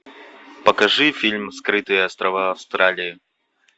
покажи фильм скрытые острова австралии